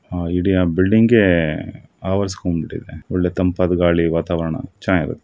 ಅಮರ ಬಿಲ್ಡಿಂಗೆ ಆವರಿಸಿಕೊಂಡಿದೆ ಒಳ್ಳೆ ತಂಪಾದ ಗಾಳಿ ವಾತಾವರಣ ಚೆನ್ನಾಗಿದೆ.